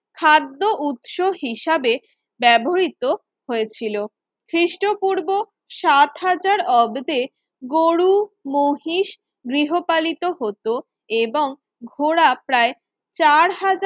খাদ্য উৎস হিসাবে ব্যবহৃত হয়েছিল খ্রিস্টপূর্ব সাত হাজার অব্দে গরু, মহিষ গৃহপালিত হতো এবং ঘোড়া প্রায় চার হাজার